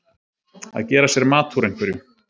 Að gera sér mat úr einhverju